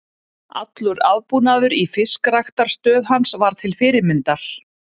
Allur aðbúnaður í fiskræktarstöð hans var til fyrirmyndar.